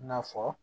I n'a fɔ